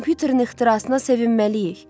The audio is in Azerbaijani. Kompüterin ixtirasına sevinməliyik.